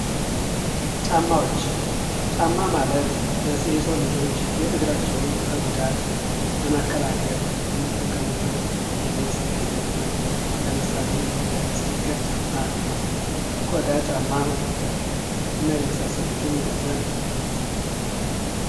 ጫማዎች፦ ጫማ ማለት የሰው ልጆች እግራቸውን ከጉዳት ለመከላከል የሚጠቀሙበት የልብስ አይነት ነው ፤ ለምሳሌ እንደ ሲኒከር ጫማ ፥ ቆዳ ጫማ እና የመሳሰሉትን የያዘ ነው።